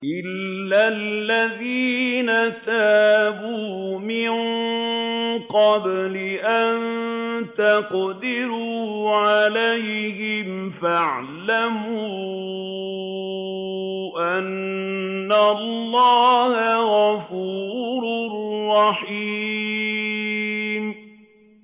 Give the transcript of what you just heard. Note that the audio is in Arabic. إِلَّا الَّذِينَ تَابُوا مِن قَبْلِ أَن تَقْدِرُوا عَلَيْهِمْ ۖ فَاعْلَمُوا أَنَّ اللَّهَ غَفُورٌ رَّحِيمٌ